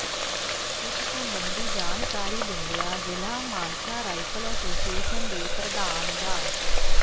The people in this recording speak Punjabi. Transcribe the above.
ਇਸ ਸਬੰਧੀ ਜਾਣਕਾਰੀ ਦਿੰਦਿਆਂ ਜ਼ਿਲ੍ਹਾ ਮਾਨਸਾ ਰਾਈਫਲ ਐਸੋਸ਼ੀਏਸ਼ਨ ਦੇ ਪ੍ਰਧਾਨ ਡਾ